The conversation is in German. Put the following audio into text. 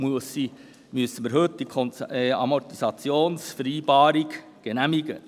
Deshalb müssen wir die Amortisationsvereinbarung heute genehmigen.